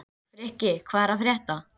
Frikki, hvað er að frétta?